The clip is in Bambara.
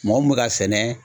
Mɔgɔ mun bɛ ka sɛnɛ